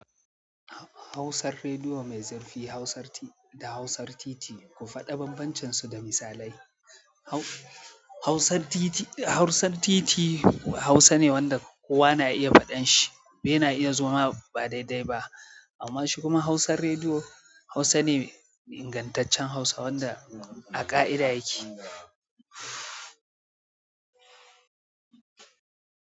Hausar rediyo mai zarfi, hausar da hausar titi. Ku faɗa banbancinsu da misalai. Hausan titi Hausa ne wanda kowa na iya faɗan shi ya na iya zoma ba daidai ba. Amma shi kuma hausan rediyo Hausa ne ingantaccen Hausa wanda a ƙa'ida yake.